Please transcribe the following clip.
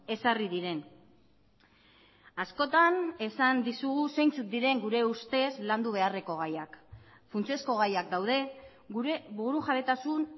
ezarri diren askotan esan dizugu zeintzuk diren gure ustez landu beharreko gaiak funtsezko gaiak daude gure burujabetasun